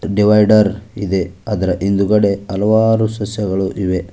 Divider ಇದೆ ಅದರ ಹಿಂದುಗಡೆ ಹಲವಾರು ಸಸ್ಯಗಳು ಇವೆ.